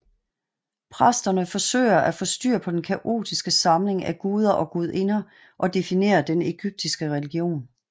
Præsterne forsøger at få styr på den kaotiske samling af guder og gudinder og definerer den egyptiske religion